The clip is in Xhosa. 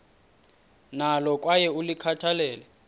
nalo kwaye ulikhathalele